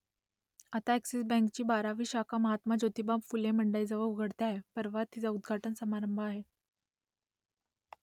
आता अ‍ॅक्सिस बँकेची बारावी शाखा महात्मा ज्योतिबा फुले मंडईजवळ उघडते आहे परवा तिचा उद्घाटन समारंभ आहे